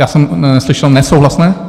Já jsem neslyšel... nesouhlasné?